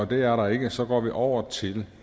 det er der ikke så går vi over til